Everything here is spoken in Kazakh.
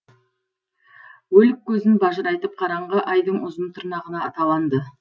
өлік көзін бажырайтып қараңғы айдың ұзын тырнағына таланды